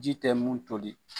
Ji tɛ mun toli.